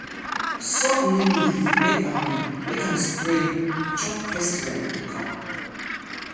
soak neem leaf make am make am spray chop pest rain dey come